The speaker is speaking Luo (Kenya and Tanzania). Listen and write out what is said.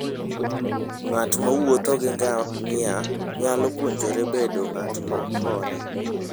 Ng'at mowuotho gi ngamia nyalo puonjore bedo ng'at ma hore.